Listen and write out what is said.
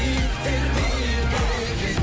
биіктер биік екен